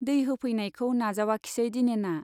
दै होफैनायखौ नाजावाखिसै दिनेना।